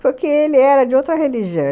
Porque ele era de outra religião.